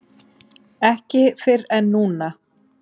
Ekki fyrr en núna.